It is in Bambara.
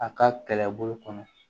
A ka kɛlɛbolo kɔnɔ